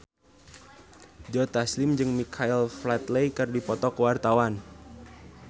Joe Taslim jeung Michael Flatley keur dipoto ku wartawan